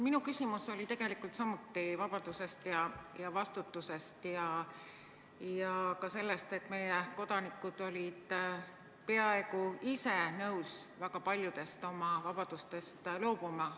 Minu küsimus oli tegelikult samuti vabadusest ja vastutusest ja ka sellest, et meie kodanikud olid peaaegu ise nõus väga paljudest oma vabadustest loobuma.